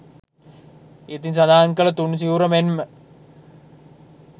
ඉහතින් සඳහන් කළ තුන් සිවුර මෙන් ම